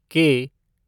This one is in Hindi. के